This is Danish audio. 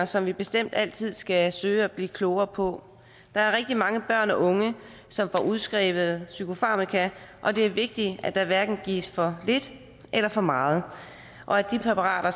som vi bestemt altid skal søge at blive klogere på der er rigtig mange børn og unge som får udskrevet psykofarmaka og det er vigtigt at der hverken gives for lidt eller for meget og at de præparater